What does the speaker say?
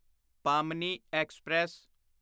ਪਾਮਨੀ express